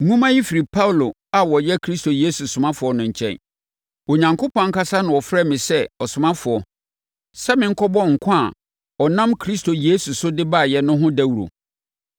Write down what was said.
Nwoma yi firi Paulo a ɔyɛ Kristo Yesu ɔsomafoɔ no nkyɛn. Onyankopɔn ankasa na ɔfrɛɛ me sɛ ɔsomafoɔ, sɛ menkɔbɔ nkwa a ɔnam Kristo Yesu so de baeɛ no ho dawuro.